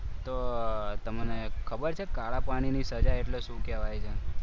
તો તમને ખબર છે કાળા પાણીની સજા એટલે શું કહેવાય છે?